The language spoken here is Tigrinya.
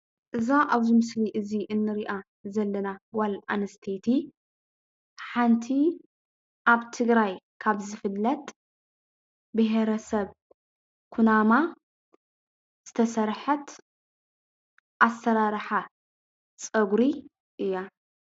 እዛ አብዚ ምስሊ እዚ ንሪአ ዘለና ጋል አንስተይቲ ሓንቲ አብ ትግራይ ካብ ዝፍለጥ ብሄረሰብ ኩናማ ዝተሰርሐት አስራራሓ ፀጉሪ እያ፡፡